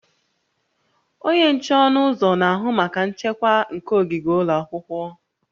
Onye nche ọnụ ụzọ na-ahụ maka nchekwa nke ogige ụlọ akwụkwọ